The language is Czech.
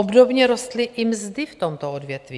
Obdobně rostly i mzdy v tomto odvětví.